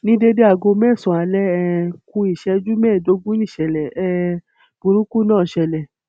ní déédé aago mẹsànán alẹ um kù ìṣẹjú mẹẹẹdógún níṣẹlẹ um burúkú náà ṣẹlẹ